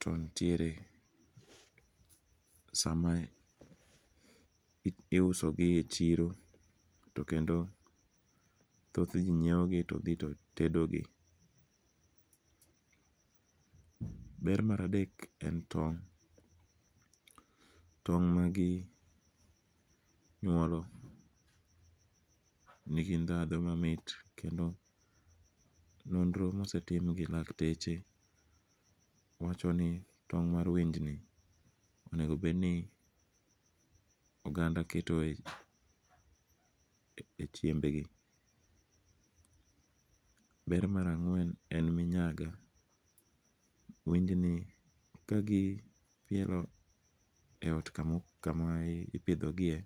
to nitiere sama iusogie chiro to kendo thoth ji nyiewogi to thi to tedogi, ber mar adek en tong', tong' maginyuolo nigi ndhandho mamit kendo nondro mosetim gi dakteche wachoni tong' mar winyni onigo bed nie oganda ketoe e chiembgi. Ber mar angwen en ni nyaka winyni kagipielo e ot kama ipithogie